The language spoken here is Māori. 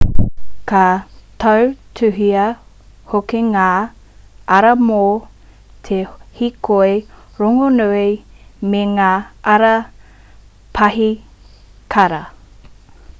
ka tautuhia hoki ngā ara mō te hīkoi rongonui me ngā ara paihikara